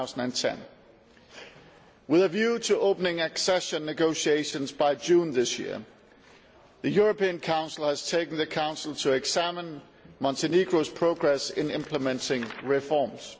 2010. With a view to opening accession negotiations by June this year, the European Council has tasked the Council to examine Montenegro's progress in implementing reforms.